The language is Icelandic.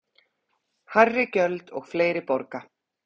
Hærri gjöld og fleiri borga